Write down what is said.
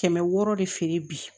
Kɛmɛ wɔɔrɔ de feere bi